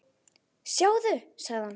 Sjáðu, sagði hann.